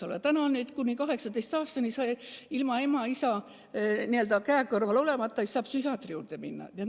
Aga kuni 18. eluaastani ei saa noor inimene ilma ema-isa käekõrval olemata psühhiaatri juurde minna.